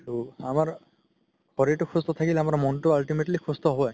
তৌ আমাৰ শৰিৰতো সুস্থ থাকিলে আমাৰ মনতো ultimately সুস্থ হয়